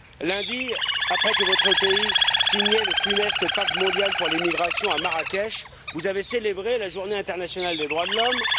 Lundi, après que votre pays eut signé le funeste Pacte mondial pour les migrations à Marrakech, vous avez célébré la Journée internationale des droits de l'homme.